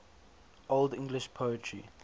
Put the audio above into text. old english poetry